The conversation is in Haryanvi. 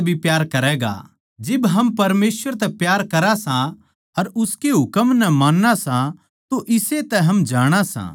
जिब हम परमेसवर तै प्यार करां सां अर उसकै हुकम नै मान्ना सां तो इस्से तै हम जाणा सां के हम परमेसवर उसके माणसां तै प्यार करां सां